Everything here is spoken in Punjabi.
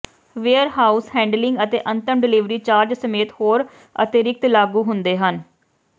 ਵੇਅਰਹਾਊਸ ਹੈਂਡਲਿੰਗ ਅਤੇ ਅੰਤਮ ਡਿਲੀਵਰੀ ਚਾਰਜ ਸਮੇਤ ਹੋਰ ਅਤਿਰਿਕਤ ਲਾਗੂ ਹੁੰਦੇ ਹਨ